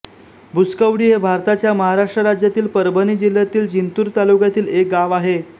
भुसकौडी हे भारताच्या महाराष्ट्र राज्यातील परभणी जिल्ह्यातील जिंतूर तालुक्यातील एक गाव आहे